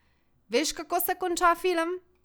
Veš, kako se konča film?